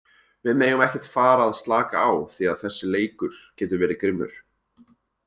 Við megum ekkert fara að slaka á því að þessi leikur getur verið grimmur.